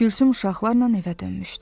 Gülsüm uşaqlarla evə dönmüşdü.